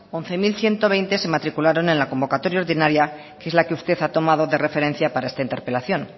once mil ciento veinte se matricularon en la convocatoria ordinaria que es la que usted ha tomado de referencia para esta interpelación